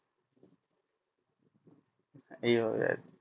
এই ভাবে আর কি